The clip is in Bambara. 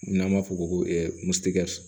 N'an b'a fɔ ko